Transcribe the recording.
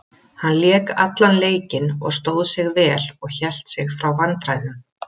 Hann lék allan leikinn og stóð sig vel og hélt sig frá vandræðum.